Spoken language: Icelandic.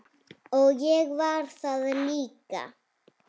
Og ég var það líka.